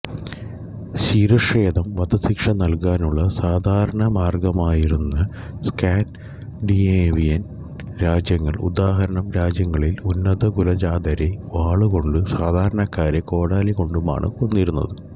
ശിരഛേദം വധശിക്ഷ നൽകാനുള്ള സാധാരണ മാർഗ്ഗമായിരുന്ന സ്കാൻഡിനേവിയൻ രാജ്യങ്ങൾ ഉദാഹരണം രാജ്യങ്ങളിൽ ഉന്നതകുലജാതരെ വാളുകൊണ്ടും സാധാരണക്കാരെ കോടാലി കൊണ്ടുമാണ് കൊന്നിരുന്നത്